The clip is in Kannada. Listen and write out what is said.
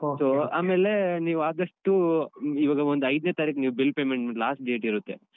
So ಆಮೇಲೆ ನೀವು ಆದಷ್ಟು ಇವಾಗ ಒಂದು ಐದ್ನೇ ತಾರೀಖು ನೀವು bill payment last date ಇರುತ್ತೆ.